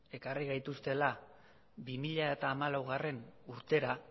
ekarri gaituztela bi mila hamalaugarrena urtera